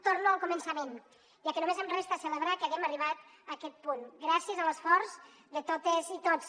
torno al començament ja que només em resta celebrar que hàgim arribat a aquest punt gràcies a l’esforç de totes i tots